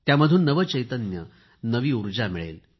त्यामधून नवे चैतन्य नवी ऊर्जा मिळेल